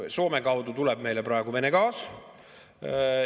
Soome kaudu tuleb meile praegu Vene gaas.